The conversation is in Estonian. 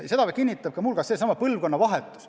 Ja seda kinnitab muu hulgas ka põlvkonnavahetus.